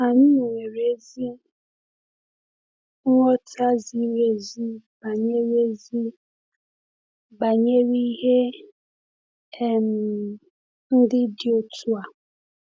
Anyị nwere ezi nghọta ziri ezi banyere ezi banyere ihe um ndị dị otu a.